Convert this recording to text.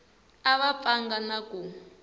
a va pfanga na ku